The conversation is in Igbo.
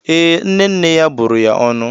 Ee, nne nne ya bụrụ ya ọnụ.